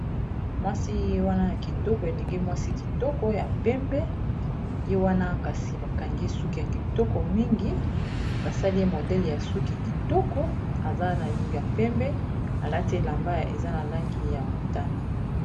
mwasi wana ya kitoko elenge mwasi kitoko ya pembe ye wana kasi bakangi ye suki ya kitoko mingi , basali modele ya suki kitoko eza na langi ya pembe ,alati elamba eza na langi ya motane